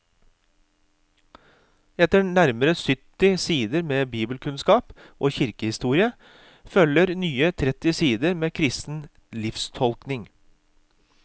Etter nærmere sytti sider med bibelkunnskap og kirkehistorie følger nye tretti sider med kristen livstolkning.